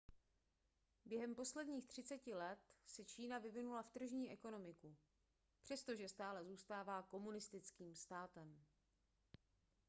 během posledních třiceti let se čína vyvinula v tržní ekonomiku přestože stále zůstává komunistickým státem